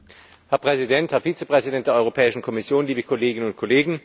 Herr Präsident, Herr Vizepräsident der Europäischen Kommission, liebe Kolleginnen und Kollegen!